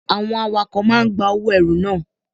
Àwọn awakọ̀ máa ń gba owó ẹrù na.